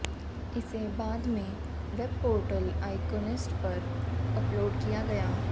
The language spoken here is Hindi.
इसे बाद में वेबपोर्टल आईकॉनिस्ट पर अपलोड किया गया